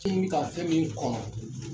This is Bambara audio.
Ti ɲini ka fɛn min kɔnɔ